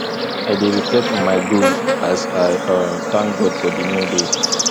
i dey reflect on my goals as i um thank god for di new day